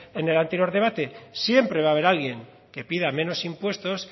en el anterior debate siempre va a haber alguien que pida menos impuestos